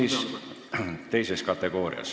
See on teine kategooria.